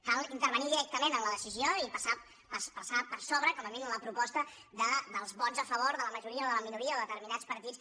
cal intervenir directament en la decisió i passar per sobre com a mínim de la proposta dels vots a favor de la majoria o de la minoria o de determinats partits